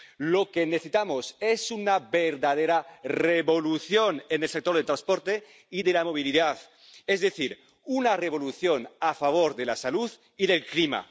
Lo que necesitamos es una verdadera revolución en el sector del transporte y de la movilidad, es decir, una revolución a favor de la salud y del clima.